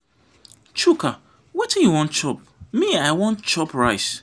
chuka wetin you wan chop me i wan i wan chop rice.